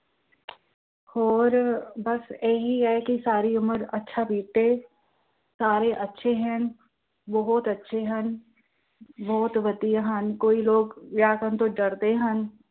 ਹੋਰ ਬੱਸ ਇਹੀ ਹੈ ਕਿ ਸਾਰੀ ਉਮਰ ਅੱਛਾ ਬੀਤੇ, ਸਾਰੇ ਅੱਛੇ ਹਨ, ਬਹੁਤ ਅੱਛੇ ਹਨ, ਬਹੁਤ ਵਧੀਆ ਹਨ ਕਈ ਲੋਕ ਵਿਆਹ ਕਰਨ ਤੋਂ ਡਰਦੇ ਹਨ।